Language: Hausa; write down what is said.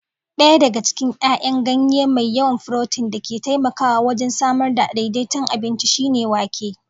Ɗaya cikin 'yayan ganye mai yawan furotin da ke taimakawa wajen samar da daidaiton abinci shine wake